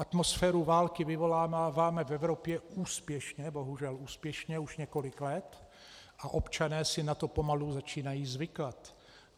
Atmosféru války vyvoláváme v Evropě úspěšně, bohužel úspěšně, už několik let a občané si na to pomalu začínají zvykat.